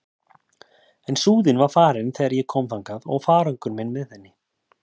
En Súðin var farin þegar ég kom þangað og farangur minn með henni.